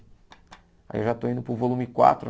Aí eu já estou indo para o volume quatro,